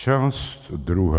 Část druhá.